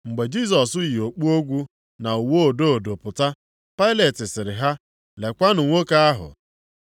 Mgbe Jisọs yi okpu ogwu na uwe odo odo pụta, Pailet sịrị ha, “Lekwanụ nwoke ahụ!”